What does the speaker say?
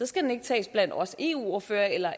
skal den ikke tages af os eu ordførere eller